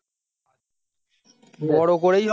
ওর ওপরেই